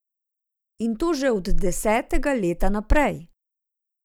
In to že od desetega leta naprej ...